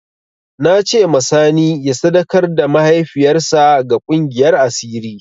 Na ce ma sani ya sadakar da mahaifiyar sa ga ƙungiyar asiri